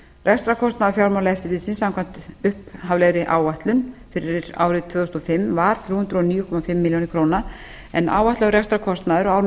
rekstrarkostnaður fjármálaeftirlitsins samkvæmt upphaflegri áætlun fyrir árið tvö þúsund og fimm var þrjú hundruð og níu og hálfa milljón króna en áætlaður rekstrarkostnaður á árinu